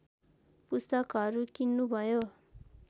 पुस्तकहरू किन्नु भयो